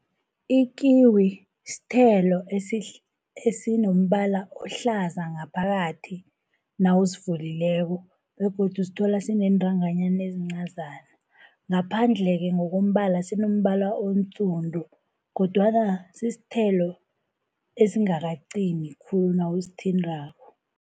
Ikiwi sithelo esinombala ohlaza ngaphakathi nawusivulileko, begodu sithola sineentanganyana ezincazana. Ngaphandle-ke ngokombala sinombala onsundu kodwana sisithelo esingakaqini khulu nawusithintako.